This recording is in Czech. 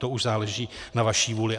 To už záleží na vaší vůli.